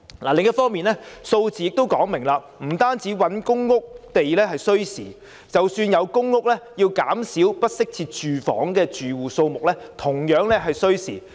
另一方面，數字亦說明，不單覓地興建公共房屋需時，即使有公屋，要減少不適切住房的住戶數目同樣需時。